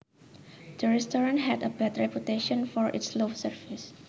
The restaurant had a bad reputation for its slow service